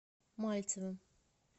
мальцевым